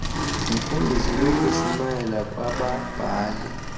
yimfundiso nokushumayela kwababhali